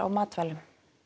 matvælum